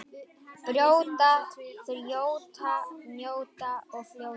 Brjóta, þjóta, njóta og fljóta.